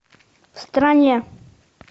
в стране